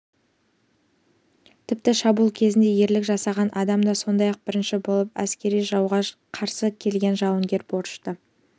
тіпті шабуыл кезінде ерлік жасаған адам да сондай-ақ бірінші болып әскерді жауға қарсы көтерген жауынгерге борышты